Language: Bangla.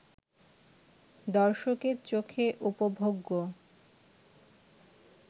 দর্শকের চোখে উপভোগ্য